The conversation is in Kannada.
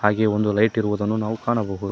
ಅಲ್ಲಿ ಒಂದು ಲೈಟ್ ಇರುವುದನ್ನು ನಾವು ಕಾಣಬಹುದು.